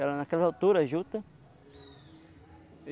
Era naquela altura a juta.